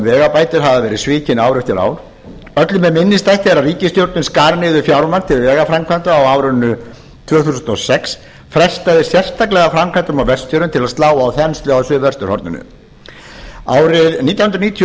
vegabætur hafa verið svikin ár eftir ár öllum er minnisstætt þegar ríkisstjórnin skar niður fjármagn til vegaframkvæmda á árinu tvö þúsund og sex frestaði sérstaklega framkvæmdum á vestfjörðum til að slá á þenslu á suðvesturhorninu árið nítján hundruð níutíu og